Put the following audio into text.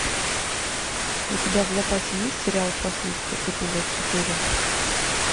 у тебя в запасе есть сериал прослушка эпизод четыре